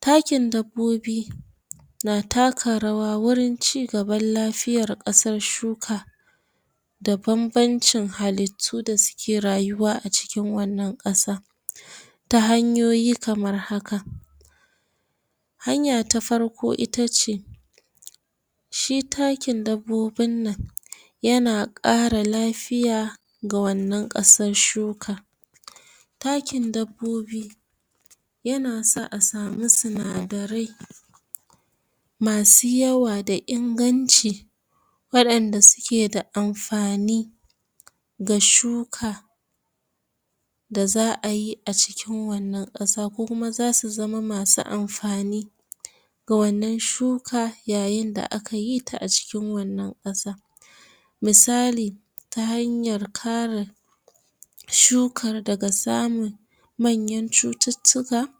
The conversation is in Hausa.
takin dabbobi na taka rawa wajan cigaban lafiyan kasar shuka da babancin halutu da suke rayuwa a cikin wannan kasa ta hanyoyi kamar haka hanya ta farko ita ce shi takin dabbobin nan yana kara lafiya ga wannan kasar shukan takin dabbobi yana sa a sami sinadare masu yawa da inganci wadan da suke da amfani da shuka da za ayi acikin wannan kasa. ko kuma za su zama masu amfani ga wannan shuka ya yin da aka yii ta a cikin wannan kasa misali ta hanyar kara shukar daga samu manyar cututtuka